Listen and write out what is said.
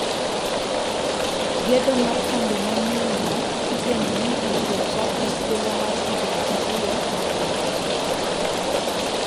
Gedo mar kambi manyienno igeno ni ibirochak e thuolo mar higini ariyo mabiro.